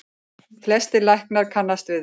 Flestir læknar kannist við þær.